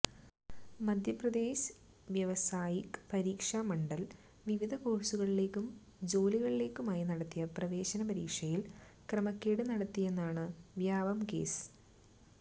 മധ്യപ്രദേശ് വ്യാവസായിക് പരീക്ഷാ മണ്ഡല് വിവിധ കോഴ്സുകളിലേക്കും ജോലികള്ക്കുമായി നടത്തിയ പ്രവേശന പരീക്ഷയില് ക്രമക്കേട് നടത്തിയെന്നാണ് വ്യാപം കേസ്